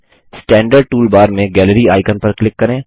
standard toolbar में gallery icon पर click करें